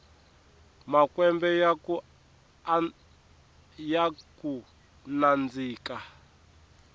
makwembe yakunandzika